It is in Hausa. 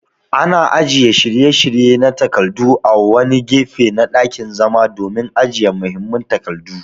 Ana ajiye shiryayye na takardu a wani gefe na ɗakin zama domin ajiye muhimman takardu.